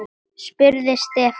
spurði Stefán.